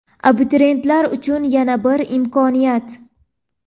Abituriyentlar uchun yana bir imkoniyat.